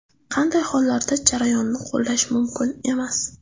Qanday hollarda jarayonni qo‘llash mumkin emas?